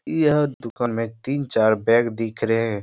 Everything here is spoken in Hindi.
यह दुकान में तीन-चार बैग दिख रहें।